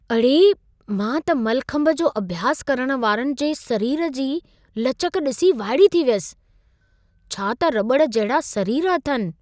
अड़े, मां त मलखंभ जो अभ्यासु करण वारनि जे सरीर जी लचक ॾिसी वाइड़ी थी वियसि! छा त रॿड़ जहिड़ा सरीर अथनि।